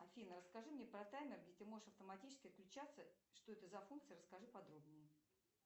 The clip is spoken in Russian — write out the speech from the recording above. афина расскажи мне про таймер где ты можешь автоматически включаться что это за функция расскажи подробнее